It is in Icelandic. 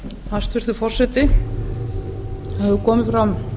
hæstvirtur forseti það hefur komið fram